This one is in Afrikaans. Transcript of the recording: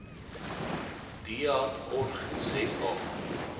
deat org za